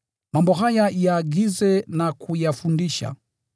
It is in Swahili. Mambo haya yaagize na kuyafundisha.